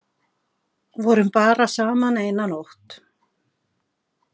Vorum bara saman eina nótt.